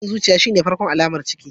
Tashin zuciya shine farkon alamar ciki.